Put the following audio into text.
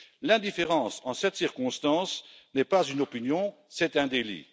L'indifférence, en cette circonstance, n'est pas une opinion, c'est un délit.